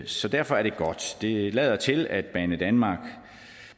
så derfor er det godt det lader til at banedanmark